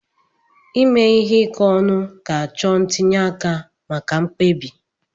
Ime ihe ike ọnụ ga-achọ ntinye aka maka mkpebi.